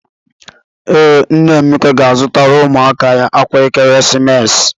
Ee, nna Emeka ga-azụtara ụmụ ya akwa ekeresimesi.